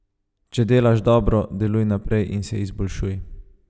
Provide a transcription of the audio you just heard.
Če delaš dobro, deluj naprej in se izboljšuj.